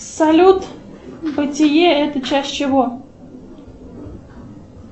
салют бытие это часть чего